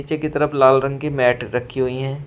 की तरफ लाल रंग की मैट रखी हुई हैं।